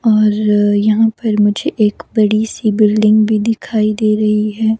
और यहां पर मुझे एक बड़ी सी बिल्डिंग भी दिखाई दे रही है।